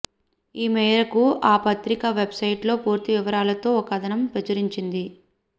ఈ మేరకు ఆ పత్రిక వెబ్సైట్లో పూర్తి వివరాలతో ఓ కథనం ప్రచురించింది